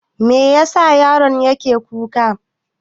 Me yasa yaron yake kuka?